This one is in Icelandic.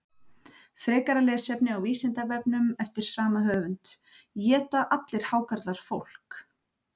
Frekara lesefni á Vísindavefnum eftir sama höfund: Éta allir hákarlar fólk?